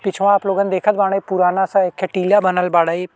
पिछवा आप लोगन देखत बाड़े पुराना सा एखे टीला बनल बाड़े।